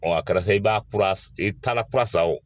Ɔɔ kala sa i b'a kura, i taara kura san wo .